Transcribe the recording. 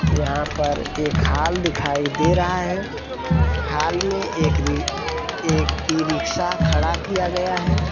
यहाँ पर एक हॉल दिखाई दे रहा है हॉल में एक री एक इ-रिक्शा खड़ा किया गया है।